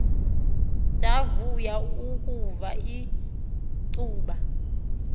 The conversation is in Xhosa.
ndavuya ukuva ulcuba